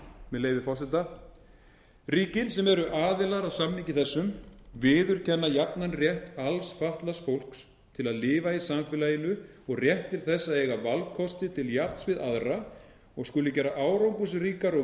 með leyfi forseta ríki sem eru aðilar að samningi þessum viðurkenna jafnan rétt alls fatlaðs fólks til að lifa í samfélaginu og rétt til að eiga valkosti til jafns við aðra og skulu gera árangursríkar og